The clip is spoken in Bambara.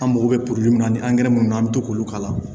An mako bɛ min na ni angɛrɛ minnu an bɛ to k'olu k'a la